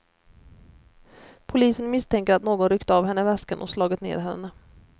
Polisen misstänker att någon ryckt av henne väskan och slagit ned henne.